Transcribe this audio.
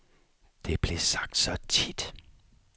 Det blev sagt så tit.